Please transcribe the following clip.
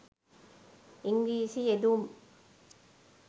ඉංග්‍රීසි යෙදුම්